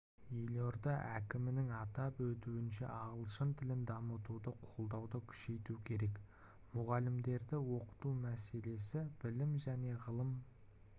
елорда әкімінің атап өтуінше ағылшын тілін дамытуды қолдауды күшейту керек мұғалімдерді оқыту мәселесі білім және ғылым